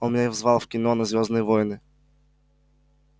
он меня звал в кино на звёздные войны